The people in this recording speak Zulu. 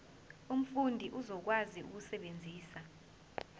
umfundi uzokwazi ukusebenzisa